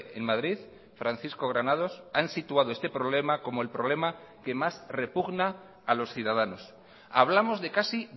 en madrid francisco granados han situado este problema como el problema que más repugna a los ciudadanos hablamos de casi